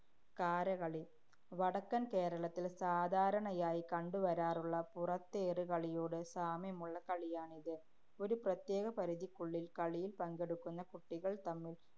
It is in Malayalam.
കാരകളി. വടക്കന്‍ കേരളത്തില്‍ സാധാരണയായി കണ്ടുവരാറുള്ള പുറത്തേറ് കളിയോട് സാമ്യമുള്ള കളിയാണിത്. ഒരു പ്രത്യേക പരിധിക്കുള്ളില്‍ കളിയില്‍ പങ്കെടുക്കുന്ന കുട്ടികള്‍ തമ്മില്‍